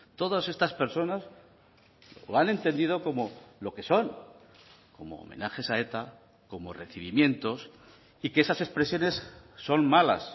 todas estas personas lo han entendido como lo que son como homenajes a eta como recibimientos y que esas expresiones son malas